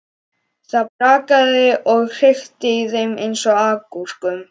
Það brakaði og hrikti í þeim eins og agúrkum.